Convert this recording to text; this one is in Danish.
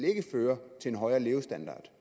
føre til en højere levestandard